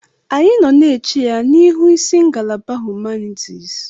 Anyị nọ na-eche ya n'ihu isi ngalaba humanitis.